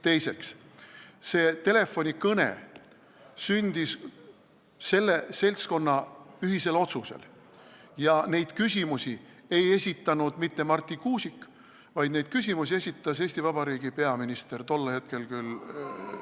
Järgmiseks, see telefonikõne sündis selle seltskonna ühisel otsusel ja neid küsimusi ei esitanud mitte Marti Kuusik, vaid neid küsimusi esitas Eesti Vabariigi peaminister, tollel hetkel küll ...